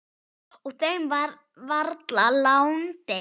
Og þeim var varla láandi.